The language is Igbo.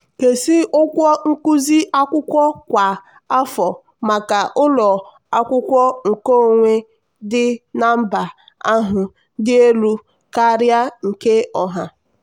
"nkezi ụgwọ nkuzi akwụkwọ kwa afọ maka ụlọ akwụkwọ nkeonwe dị na mba ahụ dị elu karịa nke ọha."